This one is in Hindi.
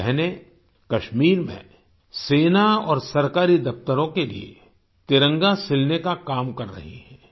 ये बहनें कश्मीर में सेना और सरकारी दफ्तरों के लिए तिरंगा सिलने का काम कर रही हैं